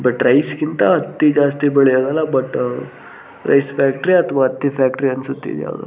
But ರೈಸ್ಗಿಂತ ಅತ್ತಿ ಜಾಸ್ತಿ ಬೆಳಿಯದಲ್ಲಾ ಬಟ್ ರೈಸ್ ಫ್ಯಾಕ್ಟರಿ ಅಥವಾ ಅತ್ತಿ ಫ್ಯಾಕ್ಟರಿ ಅನ್ಸುತ್ತೆ ಇದ್ ಯಾವ್ದೋ.